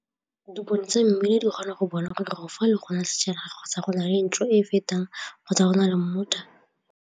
Dipone tsa mmila di kgona go bona gore go fa le gona setšhaba kgotsa go na le kitso e e fetang kgotsa go na le .